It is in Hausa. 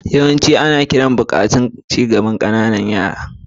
Yawancin azuzuwan ana ƙira tare da buƙatun ci gaban yara ƙanana.